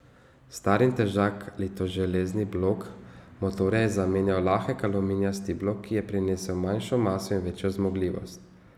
Star in težak litoželezni blok motorja je zamenjal lahek aluminijasti blok, ki je prinesel manjšo maso in večjo zmogljivost.